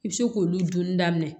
I bɛ se k'olu dunni daminɛ